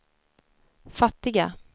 fattiga